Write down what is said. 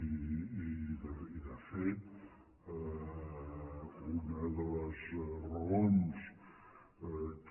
i de fet una de les raons que